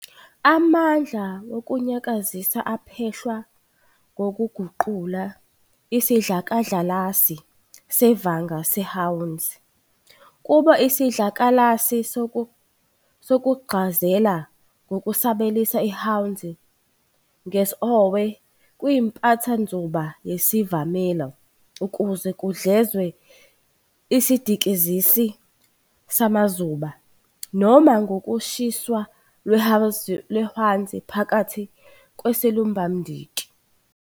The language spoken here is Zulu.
Amandla wokunyakazisa aphehlwa ngokuguqula isidlakalasi sevanga seHwanzi kube isidlakalasi sokuguxazela, ngokusabelisa iHwanzi ngesOhwe kwimpathanzuba yesivamelo ukuze kudlezwe isidikizisi samazuba, noma ngokushiswa lweHwanzi phakathi kwesilumbamdiki.